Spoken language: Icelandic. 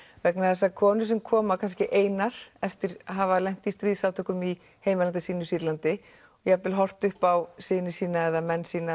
vegna þess að konur sem koma kannski einar eftir að hafa lent í stríðsátökum í landinu sínu Sýrlandi jafnvel horft upp á syni sína eða menn sína